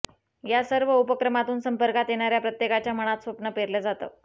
या सर्व उपक्रमातून संपर्कात येणाऱ्या प्रत्येकाच्या मनात स्वप्न पेरलं जातं